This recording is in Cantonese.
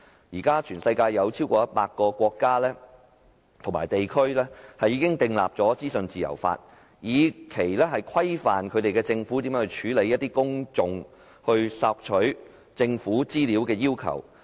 全球現時已有超過100個國家和地區制定了資訊自由法，規範政府如何處理公眾索取政府資料的要求。